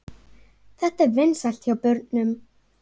Þetta er vinsælt hjá börnum.